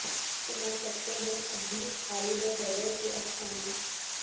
سنا سکتے ہیں اب بھی خالد و حیدر کے افسانے